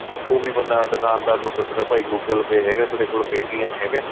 ਉਹ ਵੀ ਬੰਦਾ ਦੁਕਾਨਦਾਰ ਪੁੱਛਦਾ ਭਾਈ google pay ਹੈਗਾ ਤੇਰੇ ਕੋਲ pay TM ਹੈਗਾ ਏ